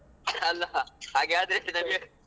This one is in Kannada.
ಅಲ್ಲ ಹಾಗೆ ಆದ್ರೆ ನಮ್ಗೆ ಕಷ್ಟ ಅಲ್ವ.